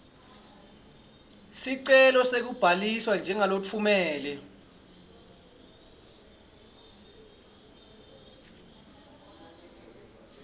sicelo sekubhaliswa njengalotfumela